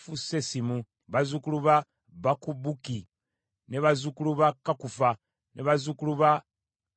bazzukulu ba Bakubuki, bazzukulu ba Kakufa, bazzukulu ba Kalukuli,